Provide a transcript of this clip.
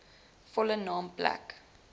volle naam plek